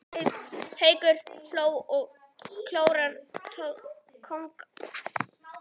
Haukur hló og konurnar tóku undir.